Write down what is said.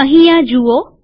અહીં આ જુઓ